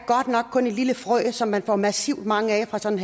kun et lille frø som man får massivt mange af fra sådan